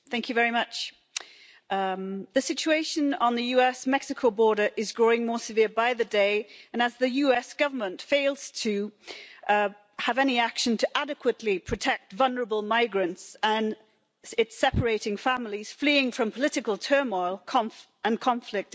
Madam President, the situation on the US Mexico border is growing more severe by the day, as the US Government fails to have any action to adequately protect vulnerable migrants and it is separating families fleeing from political turmoil and conflict in Latin America.